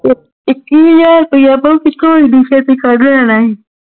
ਇੱਕੀ ਹਾਜ਼ਰ ਰੁਪਿਆ ਤੇ ਕੱਢ ਲੈਣਾ ਹੈ